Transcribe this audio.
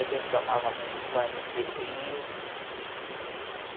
A gente tomava muito banho de rio.